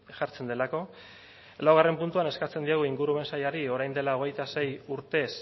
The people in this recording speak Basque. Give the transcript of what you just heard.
jartzen delako laugarren puntuan eskatzen diogu ingurumen sailari orain dela hogeita sei urtez